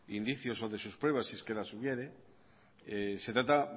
indicios o de sus pruebas si es que las hubiere se trata